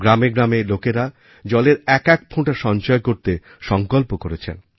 গ্রামে গ্রামে লোকেরা জলের একএক ফোঁটা সঞ্চয় করতে সঙ্কল্প করেছেন